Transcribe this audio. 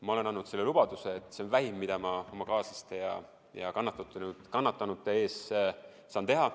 Ma olen andnud selle lubaduse, et see on vähim, mida ma oma kaaslaste ja kannatanute heaks saan teha.